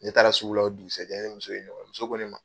Ne taara sugu la o dugusajɛ muso ko ne ma.